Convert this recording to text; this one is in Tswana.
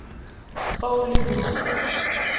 fa o le motho yo